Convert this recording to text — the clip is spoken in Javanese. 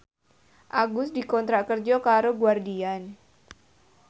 Agus dikontrak kerja karo Guardian